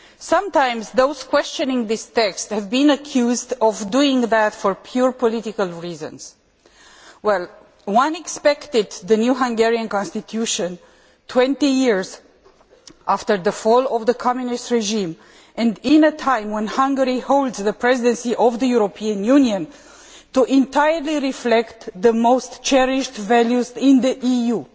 Sometimes, those questioning this text have been accused of doing so for purely political reasons. One expected the new Hungarian constitution 20 years after the fall of the Communist regime and at a time when Hungary holds the Presidency of the European Union to entirely reflect the most cherished values in the EU.